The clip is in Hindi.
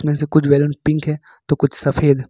इसमें से कुछ बैलून पिंक है तो कुछ सफेद।